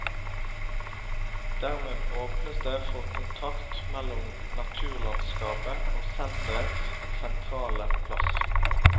Dermed åpnes det for kontakt mellom naturlandskapet og sentrets sentrale plass.